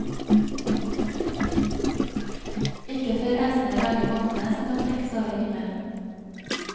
Ikke før æsene lager vognene som kan trekkes over himmelen.